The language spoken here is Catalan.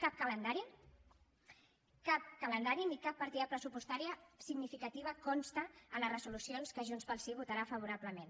cap calendari ni cap partida pressupostària significativa consten a les resolucions que junts pel sí votarà favorablement